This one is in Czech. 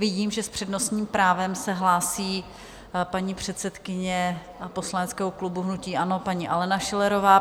Vidím, že s přednostním právem se hlásí paní předsedkyně poslaneckého klubu hnutí ANO, paní Alena Schillerová.